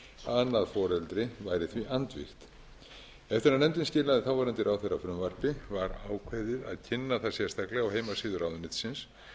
að annað foreldrið væri því andvígt eftir að nefndin skilaði þáverandi ráðherra frumvarpi var ákveðið að kynna það sérstaklega á heimasíðu ráðuneytisins